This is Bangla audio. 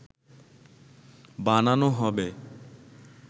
বানানো হবে